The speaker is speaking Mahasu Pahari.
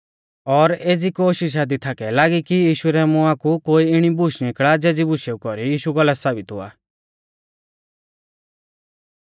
और एज़ी कोशिषा दी थाकै लागी कि यीशु रै मुआं कु कोई इणी बूश निकल़ा ज़ेज़ी बुशेऊ कौरी यीशु गलत साबित हुआ